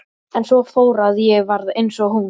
En svo fór að ég varð eins og hún.